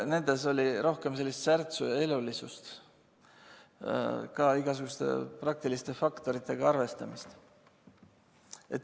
Nendes oli rohkem särtsu ja elulisust, ka igasuguste praktiliste faktoritega arvestamist.